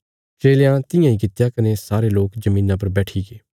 चेलयां तियां इ कित्या कने सारे लोक धरतिया पर बैठीगे